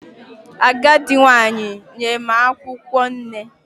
Agadi nwanyi nye m akwukwo nne